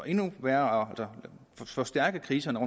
endnu værre og forstærke kriserne